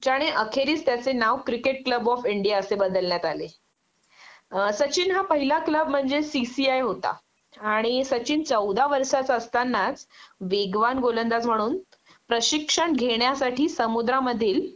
ज्याने अखेरीस त्याचे नाव क्रिकेट क्लब ऑफ इंडिया असे बदलण्यात आले.सचिन हा पहिला क्लब म्हणजे सीसीआय होता आणि सचिन चौदा वर्षाचा असतानाच वेगवान गोलंदाज म्हणून प्रशिक्षण घेण्यासाठी समुद्रामधील